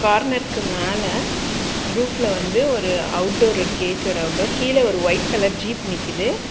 கார்னர்க்கு மேல ரூஃப்ல வந்து ஒரு அவுட்டோர் இருக்கு ஏ_சியோட அவுட்டோர் கீழ ஒரு ஒயிட் கலர் ஜீப் நிக்கிது.